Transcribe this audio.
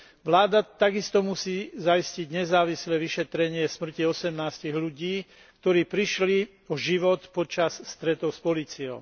Vláda takisto musí zaistiť nezávislé vyšetrenie smrti 18 ľudí, ktorí prišli o život počas stretov s políciou.